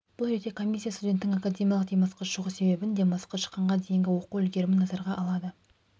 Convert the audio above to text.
бұл ретте комиссия студенттің академиялық демалысқа шығу себебін демалысқа шыққанға дейінгі оқу үлгерімін назарға алады